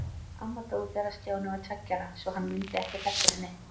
Amma dó þegar Stjáni var tveggja ára, svo hann mundi ekkert eftir henni.